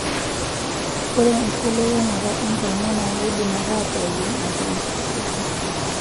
Ore enkibelekenyata enkungu naa keidim ataa pookin aashu enkiti shoto.